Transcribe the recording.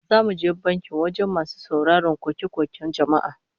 Za mu je banki wajen masu sauraron koke-koken jama'a